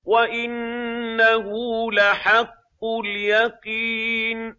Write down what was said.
وَإِنَّهُ لَحَقُّ الْيَقِينِ